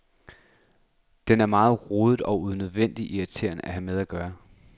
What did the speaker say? Den er meget rodet og unødvendig irriterende at have med at gøre.